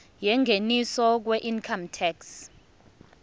yengeniso weincome tax